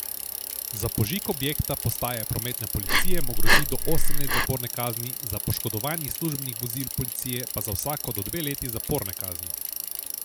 Za požig objekta postaje prometne policije mu grozi do osem let zaporne kazni, za poškodovanji službenih vozil policije pa za vsako do dve leti zaporne kazni.